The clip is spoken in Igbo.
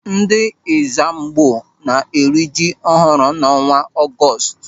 Ndị Ẹ́zàmgbó na-eri ji ọhụrụ n'ọnwa Ọgọọst.